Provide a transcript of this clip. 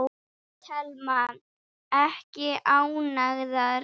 Telma: Ekki ánægðar?